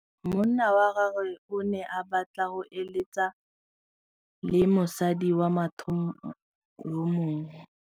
Monna wa gagwe o ne a batla go êlêtsa le mosadi wa motho yo mongwe.